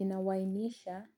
Ninawainisha